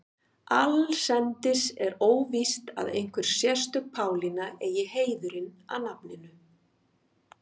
Allsendis er óvíst að einhver sérstök Pálína eigi heiðurinn að nafninu.